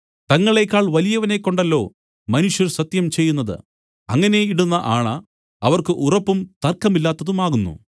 തങ്ങളേക്കാൾ വലിയവനെക്കൊണ്ടല്ലോ മനുഷ്യർ സത്യം ചെയ്യുന്നത് അങ്ങനെ ഇടുന്ന ആണ അവർക്ക് ഉറപ്പും തർക്കമില്ലാത്തതുമാകുന്നു